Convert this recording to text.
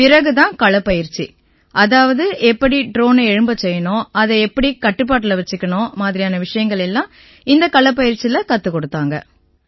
பிறகு தான் களப்பயிற்சி அதாவது எப்படி ட்ரோனை எழும்பச் செய்யணும் எப்படி அதைக் கட்டுப்பாட்டுல வச்சுக்கணும் மாதிரியான விஷயங்கள் எல்லாம் இந்தக் களப்பயிற்சியில கத்துக் கொடுத்தாங்க